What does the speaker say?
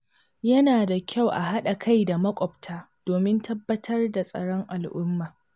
Yana da kyau a haɗa kai da maƙwabta domin tabbatar da tsaron al’umma.